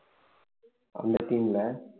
அந்த team ல